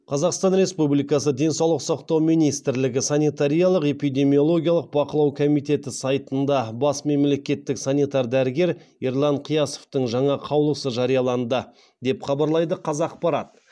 қазақстан республикасы денсаулық сақтау министрілігі санитариялық эпидемиологиялық бақылау комитеті сайтында бас мемлекеттік санитар дәрігері ерлан қиясовтың жаңа қаулысы жарияланды деп хабарлайды қазақпарат